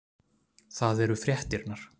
Það eru fréttirnar